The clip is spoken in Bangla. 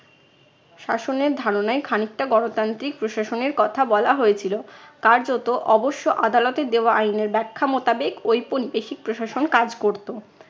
শাসনের ধারণায় খানিকটা গণতান্ত্রিক প্রশাসনের কথা বলা হয়েছিল। কার্যত অবশ্য আদালতে দেওয়া আইনের ব্যাখ্যা মোতাবেক ঔপনিবেশিক প্রশাসন কাজ করতো।